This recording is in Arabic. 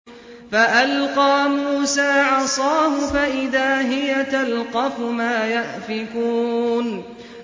فَأَلْقَىٰ مُوسَىٰ عَصَاهُ فَإِذَا هِيَ تَلْقَفُ مَا يَأْفِكُونَ